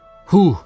Huh!